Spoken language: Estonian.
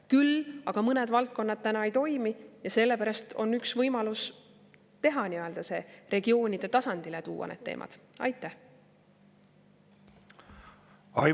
Küll aga mõned valdkonnad täna ei toimi ja sellepärast on üks võimalus teha see, tuua need teemad regioonide tasandile.